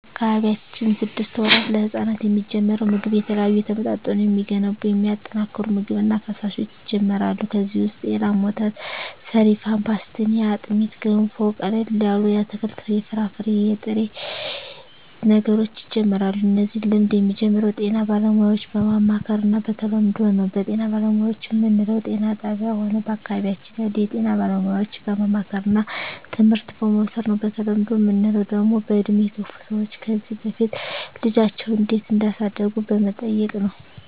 በአካባቢያችን ስድስት ወራት ለህጻናት የሚጀምረው ምግብ የተለያዩ የተመጣጠኑ የሚገነቡ የሚያጠናክሩ ምግብ እና ፈሣሾች ይጀመራሉ ከዚ ውሰጥ የላም ወተት ሰሪፋን ፓሥትኒ አጥሜት ገንፎ ቀለል ያሉ የአትክልት የፍራፍሬ የጥሬ ነገሮች ይጀምራሉ እነዚህ ልምድ የሚጀምረው ጤና ባለሙያዎች በማማከር እና በተለምዶው ነው በጤና ባለሙያዎች ምንለው ጤና ጣብያ ሆነ በአካባቢያችን ያሉ የጤና ባለሙያዎች በማማከርና ትምህርት በመዉሰድ ነው በተለምዶ ምንለው ደግሞ በእድሜ የገፍ ሰዎች ከዚ በፊት ልጃቸው እንዴት እዳሳደጉ በመጠየቅ ነው